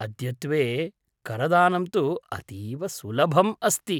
अद्यत्वे करदानं तु अतीव सुलभम् अस्ति।